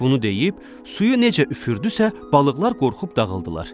Bunu deyib suyu necə üfürdüsə, balıqlar qorxub dağıldılar.